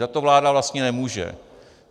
Za to vláda vlastně nemůže.